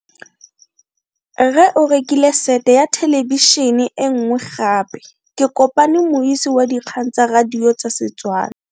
Rre o rekile sete ya thelebišene e nngwe gape. Ke kopane mmuisi w dikgang tsa radio tsa Setswana.